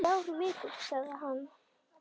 Þrjár vikur, sagði hann.